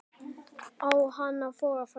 Á hann að þora fram?